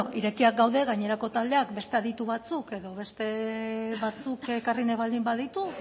irekiak gaude gainerako taldeak beste aditu batzuk edo beste batzuk ekarri nahi baldin baditu